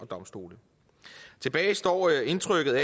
domstolene tilbage står indtrykket